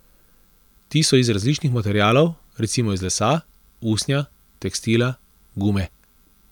Ti so iz različnih materialov, recimo iz lesa, usnja, tekstila, gume ...